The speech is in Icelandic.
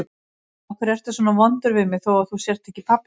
Af hverju ertu svona vondur við mig þó að þú sért ekki pabbi minn?